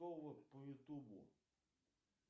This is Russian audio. по ютубу